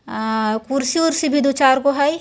अ कुर्सी वुर्सी भी दु चारगो हैं।